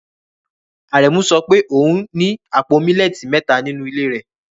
Aremus sọ pé òun ní àpò millet mẹ́ta nínú ilé rẹ̀